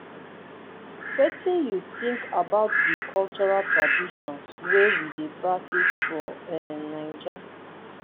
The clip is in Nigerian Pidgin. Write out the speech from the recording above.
wetin you think about di cultural traditions wey we dey practice for um naija?